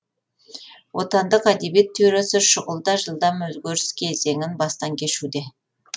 отандық әдебиет теориясы шұғыл да жылдам өзгерістер кезеңін бастан кешуде